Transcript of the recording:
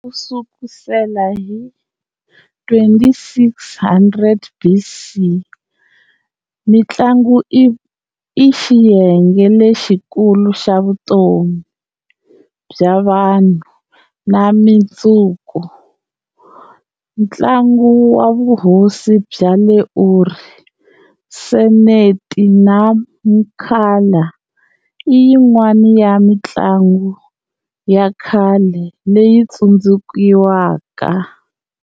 Kusukusela hi 2600 BC, mintlangu i xiyenge lexikulu xa vutomi bya vanhu na mindzuku. Ntlangu wa vuhosi bya le Uri, Seneti na Mankala, i yin'wana ya mintlangu yakhale leyi tsundzukiwaka.